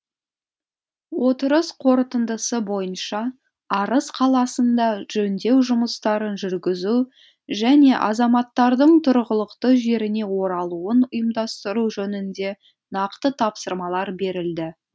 отырыс қорытындысы бойынша арыс қаласында жөндеу жұмыстарын жүргізу және азаматтардың тұрғылықты жеріне оралуын ұйымдастыру жөнінде нақты тапсырмалар берілді